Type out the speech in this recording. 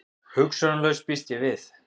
Hugsunarlaus, býst ég við.